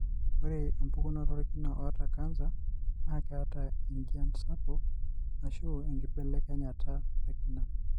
ore pukunoto olkina oata canser na keeta enjian nagol, ashu enkibelekenyata olkina.